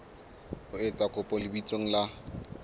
o etsa kopo lebitsong la